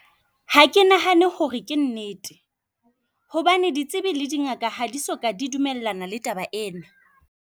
Ha ke nahane hore ke nnete hobane ditsibi le di ngaka, ha di so ka di dumellana le taba ena.